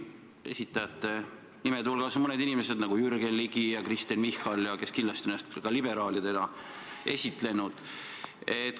Esitajate hulgas on sellised inimesed nagu Jürgen Ligi ja Kristen Michal, kes kindlasti on ennast ka liberaalidena esitlenud.